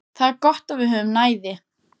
Það er gott að við höfum næði.